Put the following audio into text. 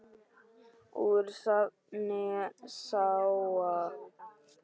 Úr safni SÁA.